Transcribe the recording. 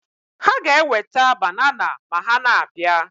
Ha ga-eweta banana ma ha na-abịa